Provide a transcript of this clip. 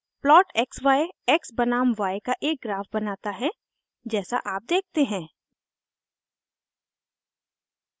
plot xy x बनाम y का एक ग्राफ बनाता है जैसा आप देखते हैं